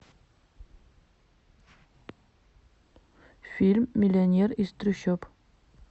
фильм миллионер из трущоб